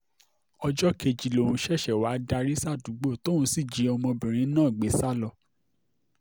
ọjọ́ kejì lòun ṣẹ̀ṣẹ̀ wáá darí sádùúgbò náà tóun sì jí ọmọbìnrin náà gbé sá lọ